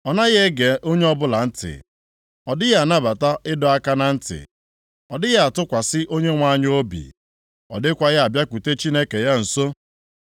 Ọ naghị ege onye ọbụla ntị, ọ dịghị anabata ịdọ aka na ntị. Ọ dịghị atụkwasị Onyenwe anyị obi, ọ dịkwaghị abịakwute Chineke ya nso.